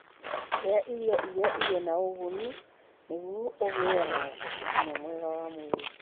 Iria irio iria irĩ na ũguni nĩguo ũgĩe na ũgima mwega wa mwĩrĩ.